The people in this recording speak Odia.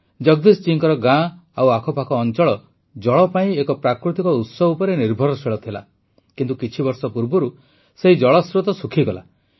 ଜଗଦୀଶ ଜୀଙ୍କ ଗାଁ ଆଉ ଆଖପାଖ ଅଂଚଳ ଜଳ ପାଇଁ ଏକ ପ୍ରାକୃତିକ ଉତ୍ସ ଉପରେ ନିର୍ଭରଶୀଳ ଥିଲା କିନ୍ତୁ କିଛିବର୍ଷ ପୂର୍ବରୁ ସେହି ଜଳସ୍ରୋତ ଶୁଖିଗଲା